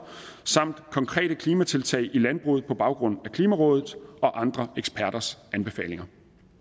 samt konkrete klimatiltag i landbruget på baggrund af klimarådet og andre eksperters anbefalinger